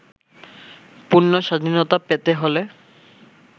পূর্ণ স্বাধীনতা পেতে হলে